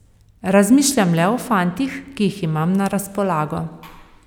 Razmišljam le o fantih, ki jih imam na razpolago.